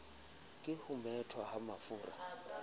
ke ho methwa ha mafura